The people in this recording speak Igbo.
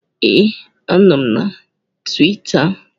Ee, anọ m na Tuwita